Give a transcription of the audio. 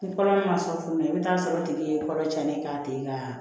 Ni kɔnɔma sɔrɔ tuguni i bi t'a sɔrɔ o tigi ye kɔrɔ tiɲɛni k'a tigi ka